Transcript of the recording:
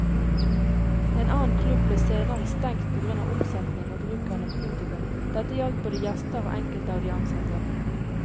En annen klubb ble senere stengt på grunn av omsetning og bruk av narkotika, dette gjaldt både gjester og enkelte av de ansatte.